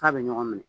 F'a bɛ ɲɔgɔn minɛ